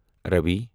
راوی